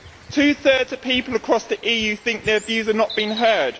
Two thirds of people across the EU think their views are not being heard.